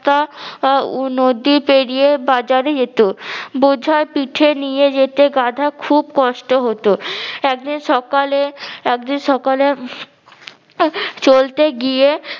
তা নদী পেরিয়ে বাজরে যেত। বোঝা পিঠে নিয়ে যেতে গাধা খুব কষ্ট হতো একদিন সকালে একদিন সকালে চলতে গিয়ে